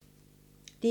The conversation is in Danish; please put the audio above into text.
DR2